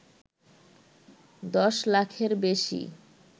দশলাখের বেশি